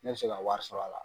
Ne bi se ka wari sɔrɔ a la